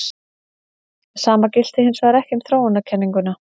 Sama gilti hins vegar ekki um þróunarkenninguna.